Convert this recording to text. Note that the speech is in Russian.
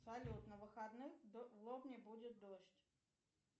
салют на выходных в лобне будет дождь